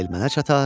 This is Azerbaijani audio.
Həmail mənə çatar.